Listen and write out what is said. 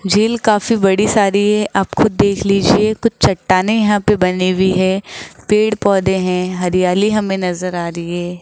झील काफी बड़ी सारी है आप खुद देख लीजिए कुछ चट्टानें यहां पे बनी हुई है पेड़ पौधे हैं हरियाली हमें नजर आ रही है।